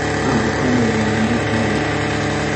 Avocado waa miro qaali ah.